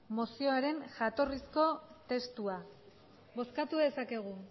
mozioaren jatorrizko testua bozkatu dezakegu